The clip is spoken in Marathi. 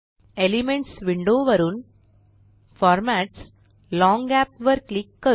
एलिमेंट्स विंडो वरुन फॉर्मॅट्सगट लाँग गॅप वर क्लिक करू